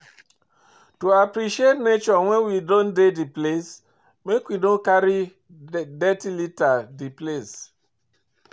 To appreciate nature when we don dey di place, make we no carry dirty liter di place